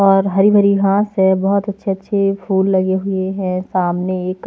और हरी भरी घांस है बहुत अच्छे-अच्छे फूल लगे हुए हैं सामने एक --